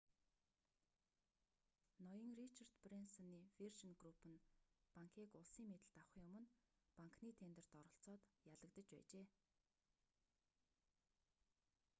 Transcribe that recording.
ноён ричард брэнсоны виржин групп нь банкийг улсын мэдэлд авахын өмнө банкны тендерт оролцоод ялагдаж байжээ